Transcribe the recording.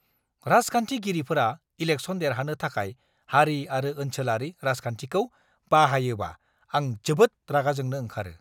राजखान्थिगिरिफोरा election देरहानो थाखाय हारि आरो ओनसोलारि राजखान्थिखौ बाहायोबा आं जोबोद रागाजोंनो ओंखारो!